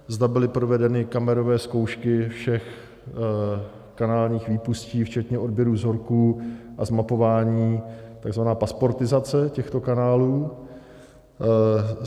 Zda byly provedeny kamerové zkoušky všech kanálových výpustí včetně odběru vzorků a zmapování, tzv. pasportizace těchto kanálů.